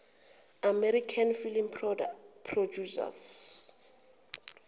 american film producers